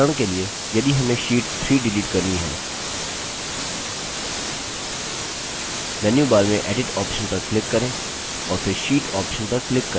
उदाहरण के लिए यदि हमें sheet 3 डिलीट करनी है मेन्यूबार में edit option पर click करें और फिर sheet option पर click करें